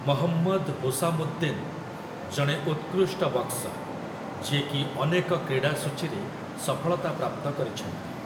ମହମ୍ମଦ୍ ହୁସାମୁଦ୍ଦିନ୍ ଜଣେ ଉତ୍କୃଷ୍ଟ ବକ୍ସର୍, ଯିଏ କି ଅନେକ କ୍ରୀଡ଼ାସୂଚୀରେ ସଫଳତା ପ୍ରାପ୍ତ କରିଛନ୍ତି ।